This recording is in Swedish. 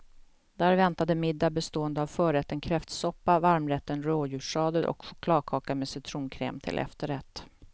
Där väntade middag bestående av förrätten kräftsoppa, varmrätten rådjurssadel och chokladkaka med citronkräm till efterrätt.